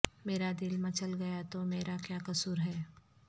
میرا دل مچل گیا تو میرا کیا قصور ہے